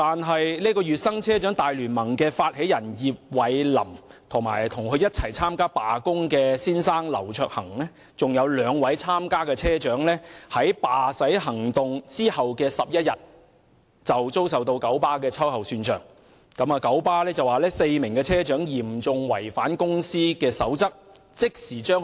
可是，聯盟發起人葉蔚琳、與她一同參與罷駛的丈夫劉卓恆，以及另外兩名參與的車長，卻在罷駛行動的11天後，遭九巴秋後算帳，九巴指4名車長嚴重違反公司守則，即時解僱他們。